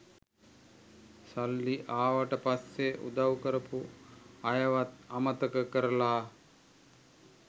සල්ලි ආවට පස්සේ උදව් කරපු අයවත් අමතක කරලා